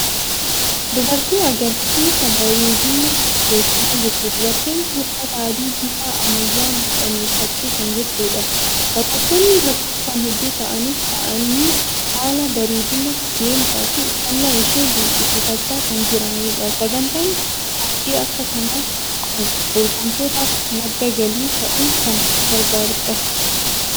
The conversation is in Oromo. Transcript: Dubartii agarsiisa bareedinaa dorgomaa jirtu. Dubartiin kun uffata adii bifa ammayyaan hodhame uffattee kan jirtudha. Daawwattoonni lakkoofsaan hedduu ta'anis taa'anii haala bareedina, deemsaa fi uffannaa ishee dinqisiifachaa kan jiranidha. Sagantaan qophii akka kanaa kun dorgomtootaaf madda galii ta'uun kan gargaarudha.